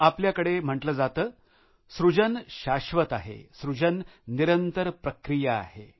आपल्याकडे म्हटलं जातं सृजन शाश्वत आहे सृजन निरंतर प्रक्रिया आहे